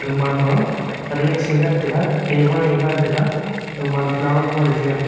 gamanma resk ee ngan taga table le ngan taga gamanma flower pot ee chi ngante.